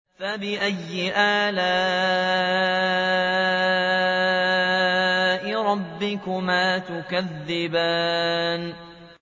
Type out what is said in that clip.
فَبِأَيِّ آلَاءِ رَبِّكُمَا تُكَذِّبَانِ